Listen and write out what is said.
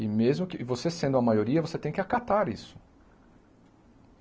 E mesmo que e você sendo a maioria, você tem que acatar isso.